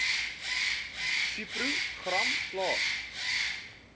subpro gram plaas